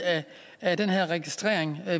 af den her registrering